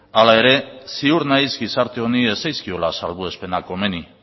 hala ere ziur naiz gizarte honi ez zaizkiola salbuespenak komeni